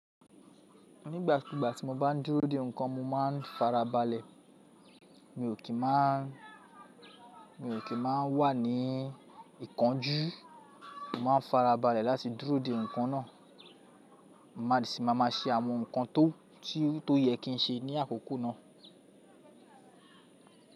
Nígbàkúgbà tí mo bá ń dúró de nǹkan mo máa ń farabalẹ̀. Mi ò kí n máa, mi ò kí n máa wà ní ìkánjú. Mo máa ń farabalẹ̀ láti dúró de nǹkan náà. Máà sí máa máa ṣe àwọn nǹkan tó, tí ó yẹ kí n ṣe ní àkókò náà.